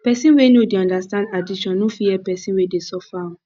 pesin wey no dey understand addiction no fit help pesin wey dey suffer am